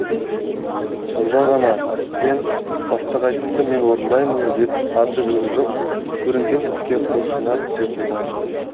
сонда ғана сен бастық айтты мен орындаймын деп аты жөні жоқ көрінген іске құлшына түсе қоймайсың